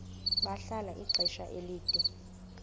bahlala ixesha elide